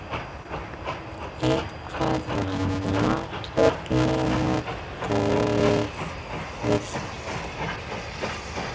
Eitthvað var náttúrlega bogið við þetta.